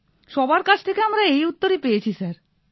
সবার কাছ থেকেই আমরা এই উত্তর পেয়েছি স্যার